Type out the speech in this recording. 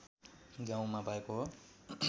गाउँमा भएको हो